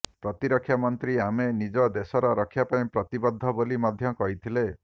ପ୍ରତିରକ୍ଷା ମନ୍ତ୍ରୀ ଆମେ ନିଜ ଦେଶର ରକ୍ଷା ପାଇଁ ପ୍ରତିବଦ୍ଧ ବୋଲି ମଧ୍ୟ କହିଥିଲେ